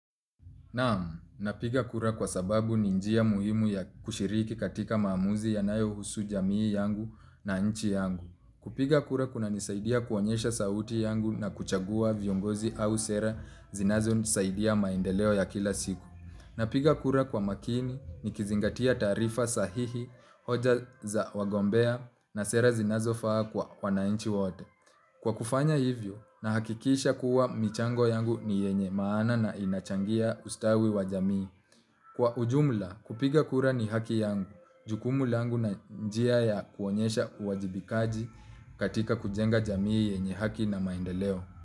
Naam, napiga kura kwa sababu ni njia muhimu ya kushiriki katika maamuzi yanayohusu jamii yangu na nchi yangu. Kupiga kura kunanisaidia kuonyesha sauti yangu na kuchagua viongozi au sera zinazonisaidia maendeleo ya kila siku. Napiga kura kwa makini nikizingatia taarifa sahihi hoja za wagombea na sera zinazofaa kwa wananchi wote. Kwa kufanya hivyo, nahakikisha kuwa michango yangu ni yenye maana na inachangia ustawi wa jamii. Kwa ujumla, kupiga kura ni haki yangu, jukumu langu na njia ya kuonyesha uwajibikaji katika kujenga jamii yenye haki na maendeleo.